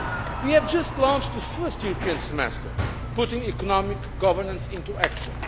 We have just launched the first European Semester putting economic governance into action.